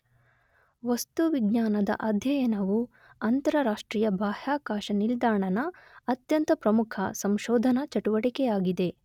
ವಸ್ತು ವಿಜ್ಞಾನದ ಅಧ್ಯಯನವು ಅಂತರರಾಷ್ಟ್ರೀಯ ಬಾಹ್ಯಾಕಾಶ ನಿಲ್ದಾಣ ನ ಅತ್ಯಂತ ಪ್ರಮುಖ ಸಂಶೋಧನಾ ಚಟುವಟಿಕೆಯಾಗಿದೆ.